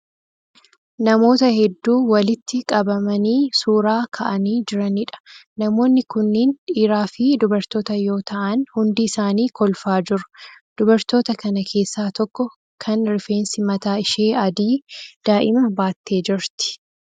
Namoota hedduu walitti qabamanii suuraa ka'aanii jiraniidha. Namoonni kunniin dhiiraa fi dubartoota yoo ta'aan hundi isaanii kolfaa jiru. Dubartoota kana keessaa tokko kan rifeensi mataa ishee adii daa'ima baattee jirti.